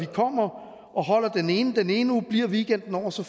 kommer og holder den ene den ene uge og bliver weekenden over og så